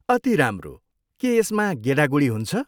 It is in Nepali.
अति राम्रो! के यसमा गेडागुडी हुन्छ?